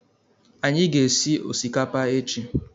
Anyị ga- esị osikapa echi